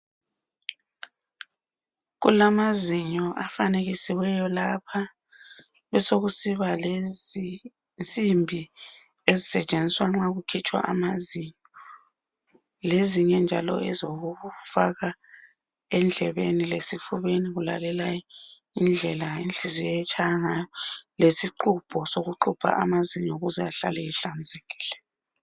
Kulamazinyo afanekisiweyo lapha, besekusiba lezinsimbi ezisetshenziswa nxa kukhitshwa amazinyo lezinye njalo ezokufaka endlebeni lesifubeni ukulalela indlela inhliziyo etshaya ngayo, lesixhubho sokuxhubha amazinyo ukuze ahlale ehlanzekile.